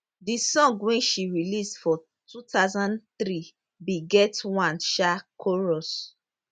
di song wey she release for 2003 bin get one um chorus